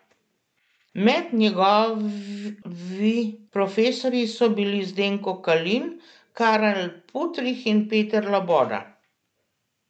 Med njegovi profesorji so bili Zdenko Kalin, Karel Putrih in Peter Loboda.